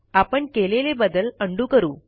आपण केलेले बदल उंडो करू